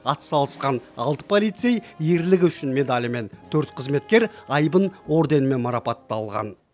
атсалысқан алты полицей ерлігі үшін медалімен төрт қызметкер айбын орденімен марапатталған